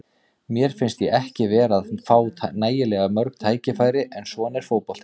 Mér fannst ég ekki vera að fá nægilega mörg tækifæri, en svona er fótboltinn.